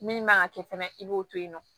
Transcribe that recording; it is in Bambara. Min man kan ka kɛ fɛnɛ i b'o to yen nɔ